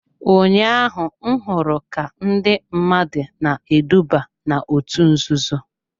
Ụnyaahụ m hụrụ ka ndị mmadụ na-eduba n'òtù nzuzo.